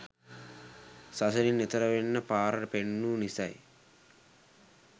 සසරින් එතෙර වෙන්න පාර පෙන්නූ නිසයි